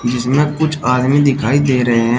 जिसमें कुछ आदमी दिखाई दे रहे हैं।